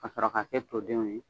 Ka sɔrɔ ka kɛ tɔ denw ye.